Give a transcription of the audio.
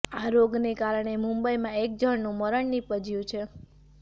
આ રોગને કારણે મુંબઈમાં એક જણનું મરણ નિપજ્યું છે